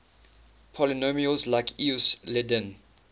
polynomials like euclidean